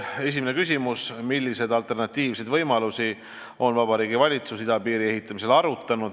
Esimene küsimus: "Milliseid alternatiivseid võimalusi on Vabariigi Valitsus idapiiri ehitamisel arutanud?